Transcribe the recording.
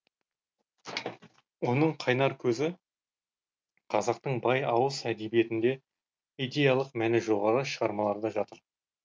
оның қайнар көзі қазақтың бай ауыз әдебиетінде идеялық мәні жоғары шығармаларда жатыр